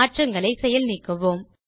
மாற்றங்களை செயல் நீக்குவோம்